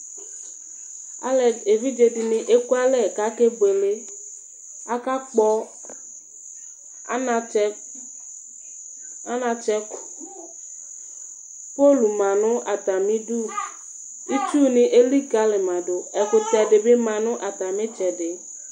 evidze dɩnɩ ekualɛ kʊ akebuele aka kpɔ anatsɛ utoku, pol ma nʊ atamidu, itsu dɩ elikalimadʊ, ɛkʊtɛ nɩ bɩ ma nʊ atamitsɛdɩ